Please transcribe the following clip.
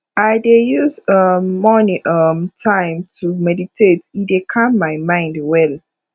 i dey use um morning um time to meditate e dey calm my mind well